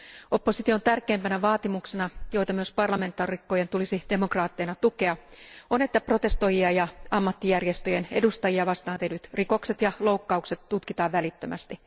Opposition tärkeimpänä vaatimuksena, joita myös parlamentaarikkojen tulisi demokraatteina tukea, on että protestoijia ja ammattijärjestöjen edustajia vastaan tehdyt rikokset ja loukkaukset tutkitaan välittömästi.